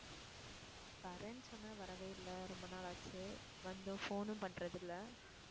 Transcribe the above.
வர்றேன்னு சொன்ன வரவே இல்ல ரொம்ப நாள் ஆச்சு. வந்தும் phone ம் பண்றது இல்ல?